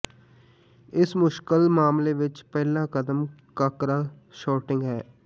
ਇਸ ਮੁਸ਼ਕਲ ਮਾਮਲੇ ਵਿੱਚ ਪਹਿਲਾ ਕਦਮ ਕਾਕਰਾ ਸੌਰਟਿੰਗ ਹੈ